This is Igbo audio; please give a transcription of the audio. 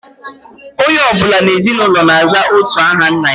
Onye ọ bụla n'ezinụlọ na-aza otu aha nna